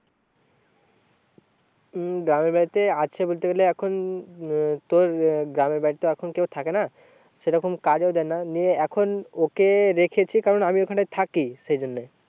উম গ্রামের বাড়িতে আছে বলতে গেলে এখন উম তোর আহ গ্রামের বাড়িতে তো এখন কেউ থাকে না সেরকম কাজও নিয়ে এখন ওকে রেখেছি কারণ আমি ওখানে থাকি সেই জন্যে।